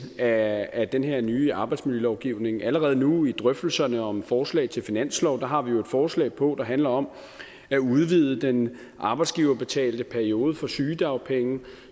af af den her nye arbejdsmiljølovgivning allerede nu i drøftelserne om et forslag til finanslov har vi jo et forslag på der handler om at udvide den arbejdsgiverbetalte periode for sygedagpenge